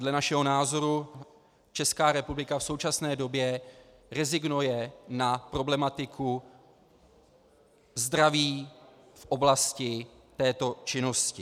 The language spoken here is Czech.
Dle našeho názoru Česká republika v současné době rezignuje na problematiku zdraví v oblasti této činnosti.